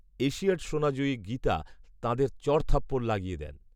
Asiad সোনাজয়ী গীতা তাঁদের চড়থাপ্পড় লাগিয়ে দেন